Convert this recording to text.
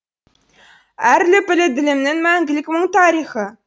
әр лүпілі ділімнің мәңгілік мұңтарихы